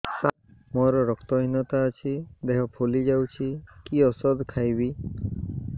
ସାର ମୋର ରକ୍ତ ହିନତା ଅଛି ଦେହ ଫୁଲି ଯାଉଛି କି ଓଷଦ ଖାଇବି